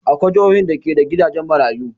Akwai jihohin da ke da gidajen maruyu.